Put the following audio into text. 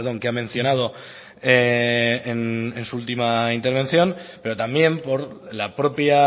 que ha mencionado en su última intervención pero también por la propia